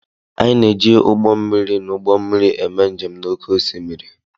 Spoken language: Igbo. Anyị na-eji ụgbọ mmiri na ụgbọ mmiri eme njem n'oké osimiri.